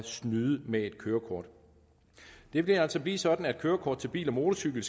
snyde med et kørekort det vil altså blive sådan at kørekort til bil og motorcykel